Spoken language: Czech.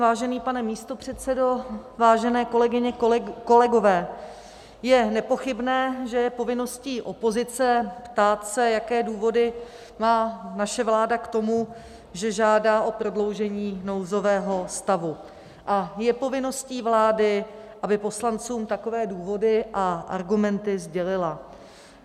Vážený pane místopředsedo, vážené kolegyně, kolegové, je nepochybné, že je povinností opozice se ptát, jaké důvody má naše vláda k tomu, že žádá o prodloužení nouzového stavu, a je povinností vlády, aby poslancům takové důvody a argumenty sdělila.